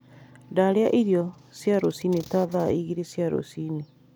Ndarĩa irio cia rũcinĩ ta thaa igĩrĩ cia rũcini